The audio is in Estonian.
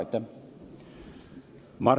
Aitäh!